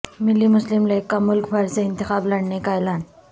ملی مسلم لیگ کا ملک بھر سے انتخابات لڑنے کا اعلان